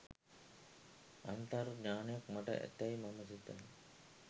අන්තර් ඥාණයක් මට ඇතැයි මම සිතමි.